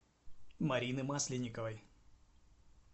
марины масленниковой